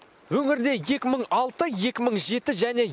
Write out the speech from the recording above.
өңірде екі мың алты екі мың жеті және